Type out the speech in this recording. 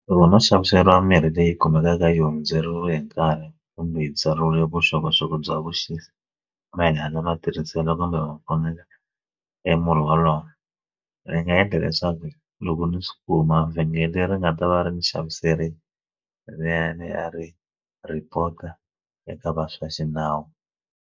Loko no xaviseriwa mirhi leyi kumekaka yi hundzeriwe hi nkarhi kumbe yi byariwile vuxokoxoko bya vuxisi ma hina lava tirhisela kumbe va fonela emurhi wolowo ni nga endla leswaku loko ni swi kuma vhengele ri nga ta va ri ni xaviseriwa leriyani a ri report-a eka va swa xinawu.